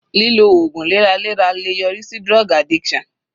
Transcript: Lílo ògùn lẹ́ra lẹ́ra le yọrí sí drug addiction.